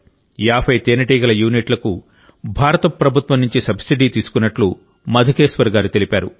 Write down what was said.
50 తేనెటీగల యూనిట్లకు భారత ప్రభుత్వం నుంచి సబ్సిడీ తీసుకున్నట్టు మధుకేశ్వర్ గారు తెలిపారు